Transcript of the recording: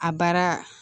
A baara